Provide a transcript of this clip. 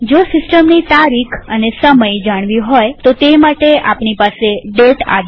જો સિસ્ટમની તારીખ અને સમય જાણવી હોય તો તે માટે આપણી પાસે દાતે આદેશ છે